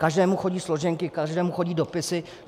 Každému chodí složenky, každému chodí dopisy.